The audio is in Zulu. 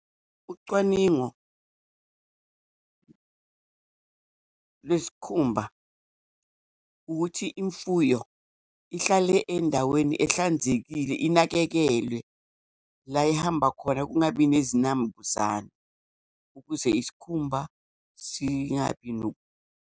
Ucwaningo lwesikhumba ukuthi imfuyo ihlale endaweni ehlanzekile, inakekelwe la ehamba khona kungabi nezinambuzane ukuze isikhumba singabi .